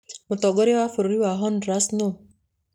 Mũtongoria wa bũrũri wa Honduras nũũ?